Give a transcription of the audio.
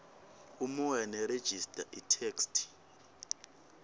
umoya nerejista itheksthi